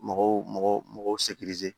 Mɔgɔw mɔgɔ